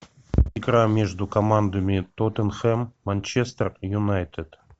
игра между командами тоттенхэм манчестер юнайтед